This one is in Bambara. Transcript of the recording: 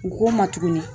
U k'o ma tuguni